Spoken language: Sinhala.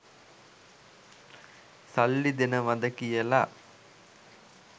සල්ලි දෙනවද කියලා.